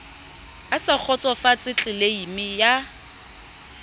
a sa kgotsofatse tleleime ya